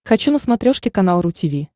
хочу на смотрешке канал ру ти ви